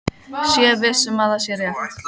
Sé viss um að það sé rétt.